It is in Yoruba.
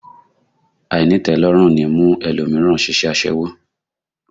Àìnítẹ̀ẹ́lọ́rùn ní mú ẹlòmíràn ṣiṣẹ́ aṣẹ́wó